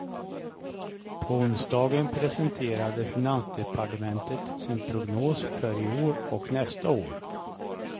På onsdagen presenterade finansdepartementet sin prognos för i år och nästa år.